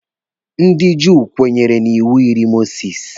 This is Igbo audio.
Ndị Juu kwenyere na iwu iri Mosisi.